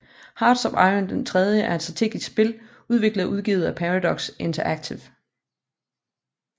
Hearts of iron III er et strategispil udviklet og udgivet af Paradox Interactive